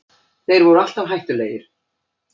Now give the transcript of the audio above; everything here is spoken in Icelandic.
Þeir voru alltaf hættulegir